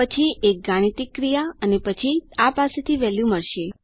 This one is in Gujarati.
પછી એક ગાણિતિક ક્રિયા પછી આ પાસેથી વેલ્યુ મળશે